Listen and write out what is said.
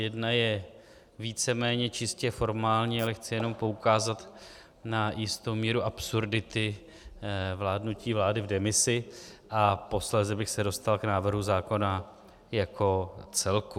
Jedna je víceméně čistě formální, ale chci jenom poukázat na jistou míru absurdity vládnutí vlády v demisi, a posléze bych se dostal k návrhu zákona jako celku.